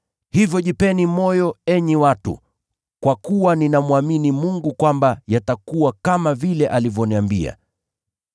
Hivyo jipeni moyo, enyi watu, kwa kuwa ninamwamini Mungu kwamba yatakuwa kama vile alivyoniambia.’